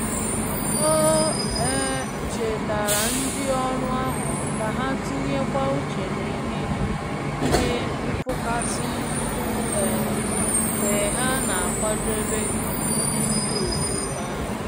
O um chetaara ndị ọrụ ahụ ka ha tinye kwa uche na ihe ihe nfụkasị nri um mgbe ha n'akwadebe nri ndi otu. um